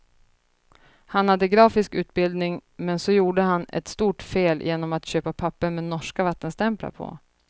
Han hade grafisk utbildning, men så gjorde han ett stort fel genom att köpa papper med norska vattenstämplar på.